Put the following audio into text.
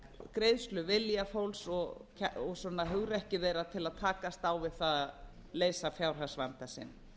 greiðsluvilja fólks og hugrekki þeirra til að takast á við að leysa fjárhagsvanda sinn